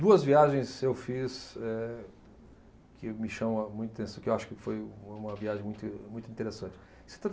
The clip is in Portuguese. Duas viagens eu fiz eh, que me chamam muito atenção, que eu acho que foi uma viagem muito, muito interessante.